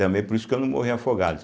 Também por isso que eu não morri afogado.